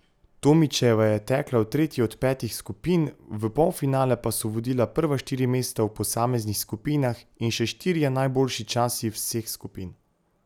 Tomičeva je tekla v tretji od petih skupin, v polfinale pa so vodila prva štiri mesta v posameznih skupinah in še štirje najboljši časi vseh skupin.